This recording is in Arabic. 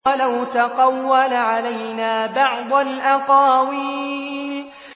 وَلَوْ تَقَوَّلَ عَلَيْنَا بَعْضَ الْأَقَاوِيلِ